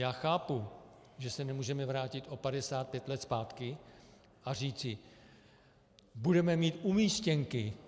Já chápu, že se nemůžeme vrátit o 55 let zpátky a říci: Budeme mít umístěnky.